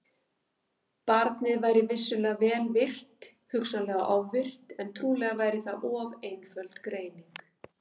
Barnið væri vissulega vel virkt, hugsanlega ofvirkt, en trúlega væri það of einföld greining.